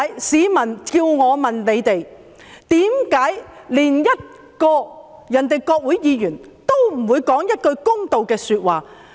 市民要我問政府，為何其他國家的國會議員也不說一句公道話。